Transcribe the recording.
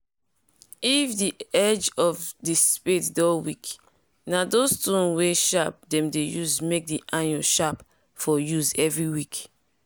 if the edge of the spade doh weak na those stone wen sharp dem dey use make the iron sharp for use every weak.